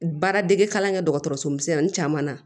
Baaradege kalan kɛ dɔgɔtɔrɔso misɛnnin caman na